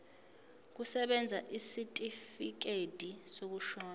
kusebenza isitifikedi sokushona